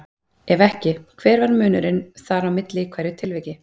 Ef ekki, hver var munurinn þar á milli í hverju tilviki?